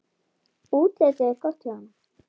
Útlitið er gott hjá honum.